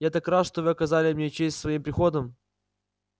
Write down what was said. я так рад что вы оказали мне честь своим приходом